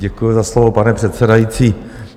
Děkuji za slovo, pane předsedající.